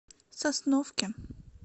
сосновки